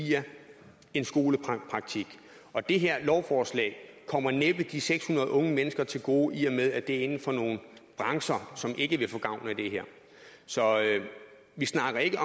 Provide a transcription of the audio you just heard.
via en skolepraktik og det her lovforslag kommer næppe de seks hundrede unge mennesker til gode i og med at de er inden for nogle brancher som ikke vil få gavn af det her så vi snakker ikke